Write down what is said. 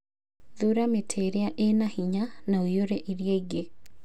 Thuura mĩtĩ ĩrĩa ĩrĩ na hinya na ũiyũre ĩrĩa ĩngĩ.